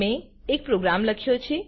મેં એક પ્રોગ્રામ લખ્યો છે